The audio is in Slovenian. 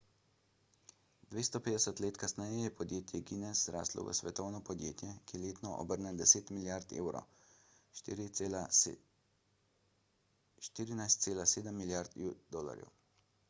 250 let kasneje je podjetje guinness zraslo v svetovno podjetje ki letno obrne 10 milijard evrov 14,7 milijard usd